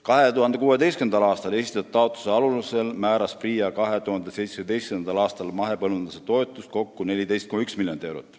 2016. aastal esitatud taotluste alusel määras PRIA 2017. aastal mahepõllumajanduse toetusi kokku 14,1 miljonit eurot.